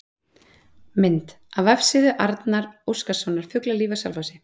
Mynd: Af vefsíðu Arnar Óskarssonar, Fuglalíf á Selfossi